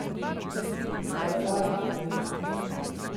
Barbar!